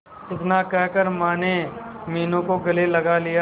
इतना कहकर माने मीनू को गले लगा लिया